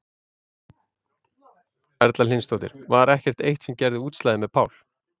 Erla Hlynsdóttir: Var ekkert eitt sem að gerði útslagið með Pál?